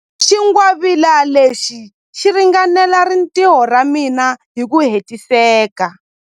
Xingwavila lexi xi ringanela rintiho ra mina hi ku hetiseka.